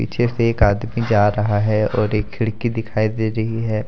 पिछे से एक आदमी जा रहा है और एक खिड़की दिखाई दे रही है।